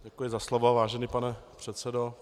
Děkuji za slovo, vážený pane předsedo.